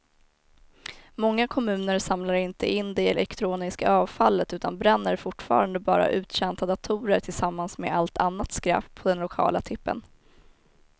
Många kommuner samlar inte in det elektroniska avfallet utan bränner fortfarande bara uttjänta datorer tillsammans med allt annat skräp på den lokala tippen.